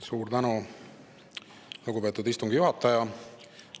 Suur tänu, lugupeetud istungi juhataja!